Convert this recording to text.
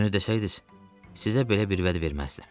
Düzünü desəydiniz, sizə belə bir vəd verməzdim.